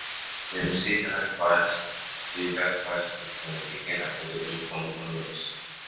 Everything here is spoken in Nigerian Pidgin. Dem sey dat fast food joint dey get affordable combo meals.